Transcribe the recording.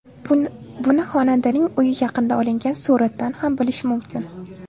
Buni xonandaning uyi yaqinida olingan suratdan ham bilish mumkin.